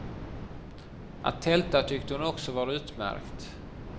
Att tälta tyckte hon också var utmärkt.